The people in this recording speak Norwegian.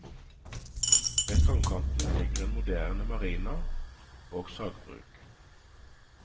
Ved strandkanten ligger en moderne marina og sagbruk.